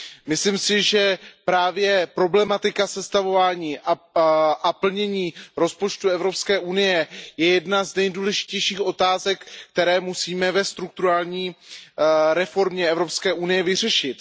Myslím si, že právě problematika sestavování a plnění rozpočtu Evropské unie je jednou z nejdůležitějších otázek, které musíme ve strukturální reformě Evropské unie vyřešit.